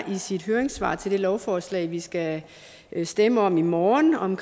i sit høringssvar til det lovforslag vi skal stemme om i morgen om